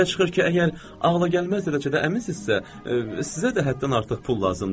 Belə çıxır ki, əgər ağlagəlməz dərəcədə əminsinizsə, sizə də həddən artıq pul lazımdır.